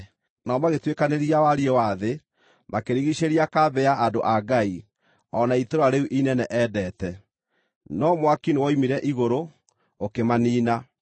Nao magĩtuĩkanĩria wariĩ wa thĩ, makĩrigiicĩria kambĩ ya andũ a Ngai, o na itũũra rĩu inene endete. No mwaki nĩwoimire igũrũ, ũkĩmaniina.